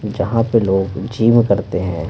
जहां पे लोग जिम करते हैं।